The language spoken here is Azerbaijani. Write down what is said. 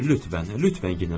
Lütfən, lütfən general.